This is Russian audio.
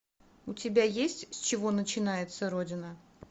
у тебя есть с чего начинается родина